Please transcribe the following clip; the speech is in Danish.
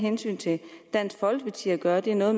dansk folkeparti at gøre det har noget